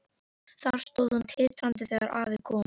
Þar stóð hún titrandi þegar afi kom.